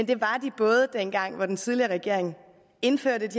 det var de både dengang hvor den tidligere regering indførte